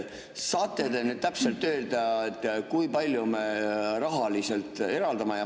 Saate te nüüd täpselt öelda, kui palju me raha eraldame?